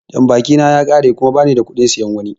Jambaki na ya ƙare kuma ba nida kuɗin siyan wani.